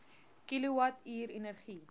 kilowatt uur energie